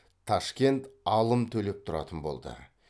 ташкент алым төлеп тұратын болды